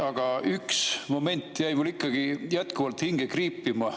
Aga üks moment jäi mul ikkagi jätkuvalt hinge kriipima.